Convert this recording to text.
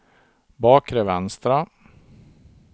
bakre vänstra